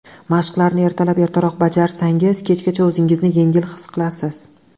Mashqlarni ertalab ertaroq bajarsangiz, kechgacha o‘zingizni yengil his qilasiz.